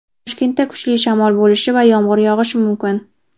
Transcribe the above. Toshkentda kuchli shamol bo‘lishi va yomg‘ir yog‘ishi mumkin.